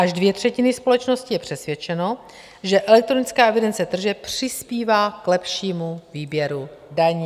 Až dvě třetiny společnosti je přesvědčeno, že elektronická evidence tržeb přispívá k lepšímu výběru daní.